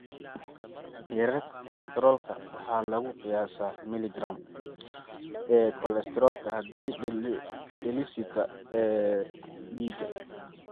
Heerarka kolestaroolka waxaa lagu qiyaasaa milligaraam (mg) ee kolesteroolka halkii deciliter (dL) ee dhiiga.